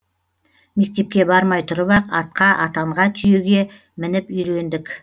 мектепке бармай тұрып ақ атқа атанға түйеге мініп үйрендік